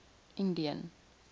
indian